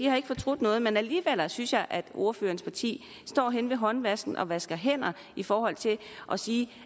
har fortrudt noget men alligevel synes jeg at ordførerens parti står henne ved håndvasken og vasker hænder i forhold til at sige